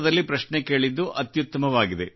ಸಂಸ್ಕೃತದಲ್ಲಿ ಪ್ರಶ್ನೆ ಕೇಳಿದ್ದು ಅತ್ಯುತ್ತಮವಾಗಿದೆ